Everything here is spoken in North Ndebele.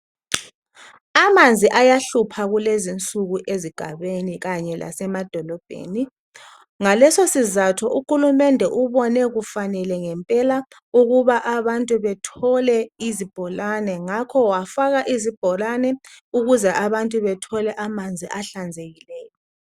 Amanzi ayahlupha kulezinsuku ezigabeni kanye lasemadolobheni. Ngaleso sizatho uhulumende ubone kufanele ngempela ukuba abantu bethole izibholane, ngakho wafaka izibholane ukuze abantu bethole amanzi ahlanzekileyo.